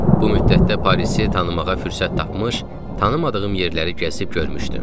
Bu müddətdə Parizi tanımağa fürsət tapmış, tanımadığım yerləri gəzib görmüşdüm.